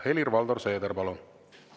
Helir-Valdor Seeder, palun!